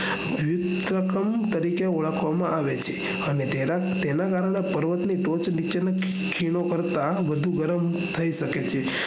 વિવિધ કર્ણ તરીકે ઓળખવામાં આવે છે હાને તેના કારણે પર્વત ના ટોચ નીચે ની ખીણો કરતા વધુ ગરમ થઇ શકે છે